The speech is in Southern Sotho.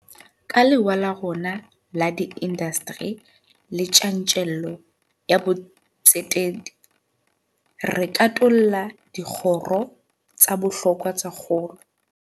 Ka lewa la rona la diindasteri le tjantjello ya botsetedi, re katolla dikgoro tsa bohlokwa tsa kgolo.